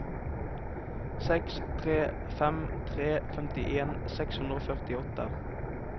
seks tre fem tre femtien seks hundre og førtiåtte